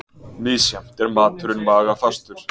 Misjafnt er maturinn magafastur.